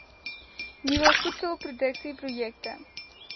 nuwe voedselproduksie projekte